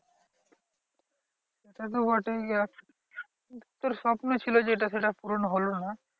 সেতো বটেই দেখ তোর স্বপ্ন ছিল যে এটা সেটা পূরণ হলো না।